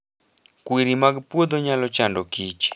Kwiri mag puodho nyalo chando kich